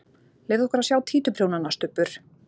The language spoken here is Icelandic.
Leyfðu okkur að sjá títuprjónana, Stubbur!